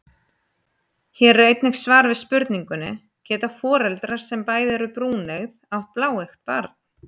Hér er einnig svar við spurningunni: Geta foreldrar sem bæði eru brúneygð átt bláeygt barn?